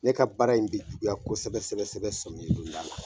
Ne ka baara in bi juguya kosɛbɛsɛbɛsɛbɛ samiya donda la